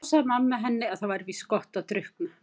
En þá sagði mamma henni að það væri víst gott að drukkna.